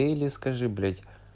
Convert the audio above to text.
или скажи блять